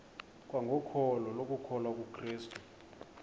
kwangokholo lokukholwa kukrestu